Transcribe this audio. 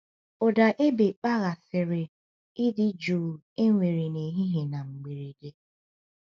Ụda égbè kpaghasịrị ịdị jụụ e nwere n’ehihie na mberede.